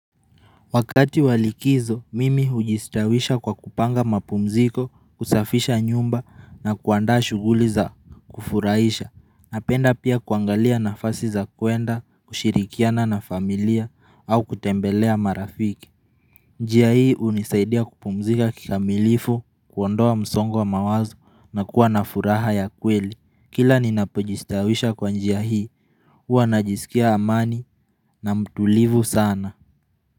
Wakati wa likizo mimi hujistawisha kwa kupanga mapumziko kusafisha nyumba na kuandaa shughuli za kufurahisha napenda pia kuangalia nafasi za kuenda kushirikiana na familia au kutembelea marafiki njia hii unisaidia kupumzika kikamilifu kuondoa msongo wa mawazo na kuwa na furaha ya kweli kila ninapojistawisha kwa njia hii huwa najisikia amani na mtulivu sana.